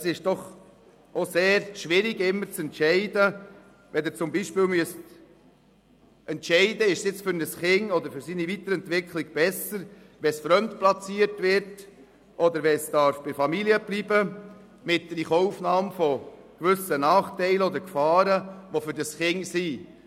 Es ist auch sehr schwierig, immer zu entscheiden zu müssen, beispielsweise, ob es nun für ein Kind oder für seine Weiterentwicklung besser ist, fremdplatziert oder bei der Familie bleiben zu dürfen, aber dafür gewisse Nachteile oder Gefahren für das Kind in Kauf genommen werden müssen.